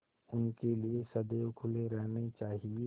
उनके लिए सदैव खुले रहने चाहिए